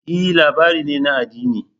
E! labari ne na addini.